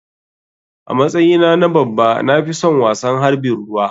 A matsyi na na babba na fison wasan harɓin ruwa.